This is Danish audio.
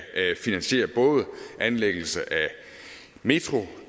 finansiere anlæggelse af metro